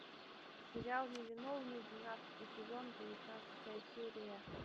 сериал невиновный двенадцатый сезон девятнадцатая серия